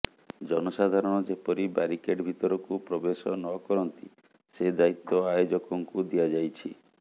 ଜନସାଧାରଣ ଯେପରି ବ୍ୟାରିକେଟ ଭିତରକୁ ପ୍ରବେଶ ନ କରନ୍ତି ସେ ଦାୟିତ୍ୱ ଆୟୋଜକଙ୍କୁ ଦିଆଯାଇଛି